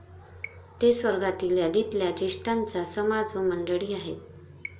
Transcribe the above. ते स्वर्गातील यादीतल्या ज्येष्ठांचा समाज व मंडळी आहेत.